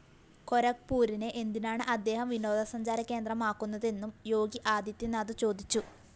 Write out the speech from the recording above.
ഗോരഖ്പുരിനെ എന്തിനാണ് അദ്ദേഹം വിനോദസഞ്ചാര കേന്ദ്രമാക്കുന്നതെന്നും യോഗി ആദിത്യനാഥ് ചോദിച്ചു